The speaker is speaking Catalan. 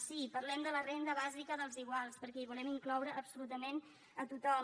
sí parlem de la renda bàsica dels iguals perquè hi volem incloure absolutament a tothom